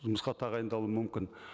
жұмысқа тағайындалуы мүмкін